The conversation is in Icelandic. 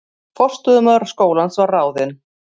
Forstöðumaður skólans var ráðinn